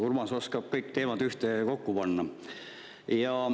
Urmas oskab kõik teemad ühtekokku panna.